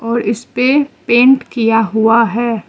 और इसपे पेंट किया हुआ है।